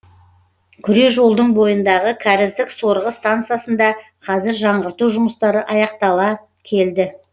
күре жолдың бойындағы кәріздік сорғы стансасында қазір жаңғырту жұмыстары аяқтала келді